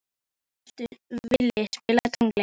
Vili, spilaðu tónlist.